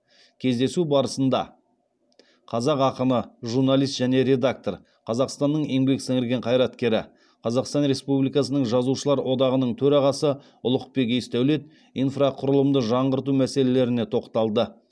кездесу барысында қазақ ақыны журналист және редактор қазақстанның еңбек сіңірген қайраткері қазақстан республикасының жазушылар одағының төрағасы ұлықбек есдәулет инфрақұрылымды жаңғырту мәселелеріне тоқталды